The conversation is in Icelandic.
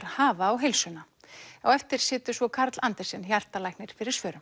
hafa á heilsuna á eftir situr svo Karl Andersen hjartalæknir fyrir svörum